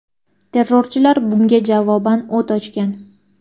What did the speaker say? Terrorchilar bunga javoban o‘t ochgan.